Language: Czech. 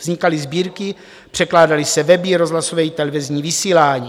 Vznikaly sbírky, překládaly se weby, rozhlasové i televizní vysílání.